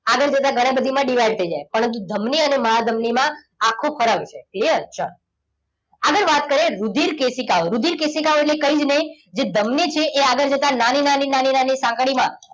આગળ જઈને ઘણી બધી માં divide થઈ જાય કારણ કે ધમની અને મહાધમની માં આખો ફરાય છે. clear ચાલો આગળ વાત કરીએ રુધિર કેશિકાઓ રુધિર કેશિકાઓ ટલે કંઈ જ નહીં જે ધમની છે તે આગળ જતા નાની નાની નાની નાની સાંકળીમાં,